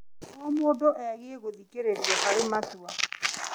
O mũndũ abatiĩ gũthikĩrĩrio harĩ matua.